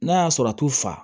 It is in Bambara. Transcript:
N'a y'a sɔrɔ a t'u fa